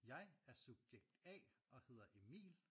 Jeg er subjekt A og hedder Emil